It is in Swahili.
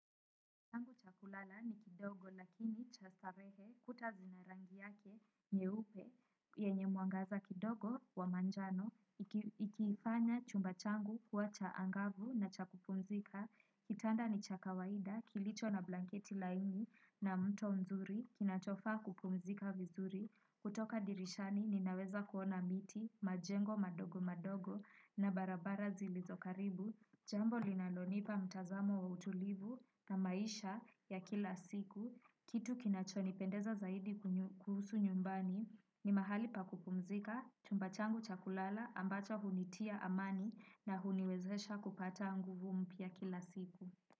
Changu cha kulala ni kidogo lakini cha starehe kuta zina rangi yake nyeupe yenye mwangaza kidogo wa manjano ikifanya chumba changu kuwa cha angavu na cha kupumzika. Kitanda ni cha kawaida kilicho na blanketi laini na mto mzuri kinachofaa kupumzika vizuri. Kutoka dirishani ninaweza kuona miti majengo madogo madogo na barabara zilizokaribu. Jambo linalonipa mtazamo wa utulivu na maisha ya kila siku. Kitu kinachonipendeza zaidi kuhusu nyumbani ni mahali pa kupumzika chumba changu cha kulala ambacho hunitia amani na huniwezesha kupata nguvu mpya kila siku.